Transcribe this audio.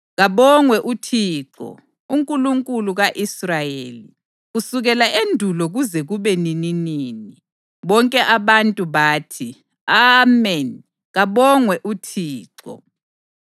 Kabongwe uThixo, uNkulunkulu ka-Israyeli, kusukela endulo kuze kube nininini. Bonke abantu bathi: “Ameni. Kabongwe uThixo!”